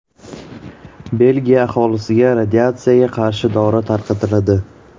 Belgiya aholisiga radiatsiyaga qarshi dori tarqatiladi.